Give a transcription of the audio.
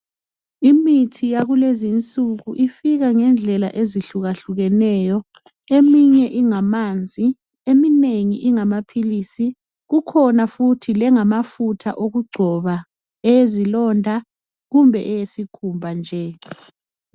Imithi yakulezinsuku ifika ngendlela ezihluka-hlukeneyo eminye ingamanzi eminengi ingamapilisi kukhona futhi lengamafutha okugcoba eyezilonda kumbe eyesikhumba nje